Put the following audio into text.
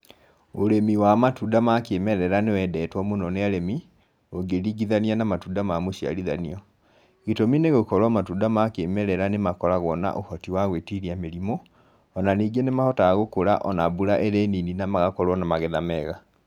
Ũrĩmi wa matunda ma kĩmerera nĩwendetwo mũno nĩ arĩmi, ũngĩringithania na matunda ma mũciarithanio. Gĩtũmi nĩ gũkorwo matunda ma kĩmerera nĩ makoragwo na ũhoti wa gwĩtiria mĩrimũ o na ningĩ nĩ mahotaga gũkũra ona mbura ĩrĩ nini na magakorwo na magetha mega.